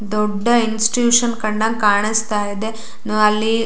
ದೊಡ್ಡ ಇನ್ಸ್ಟ್ಯೂಷನ್ ಕಂಡಂಗೆ ಕಾಣಸ್ತಾ ಇದೆ ಅಲ್ಲಿ.